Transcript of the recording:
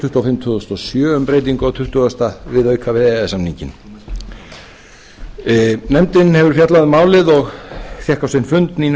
tuttugu og fimm tvö þúsund og sjö um breytingu á tuttugasta viðauka við e e s samninginn nefndin hefur fjallað um málið og fékk á sinn fund nínu